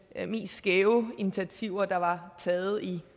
mest skæve initiativer der var taget i